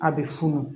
A bɛ funu